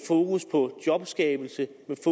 fokus på jobskabelse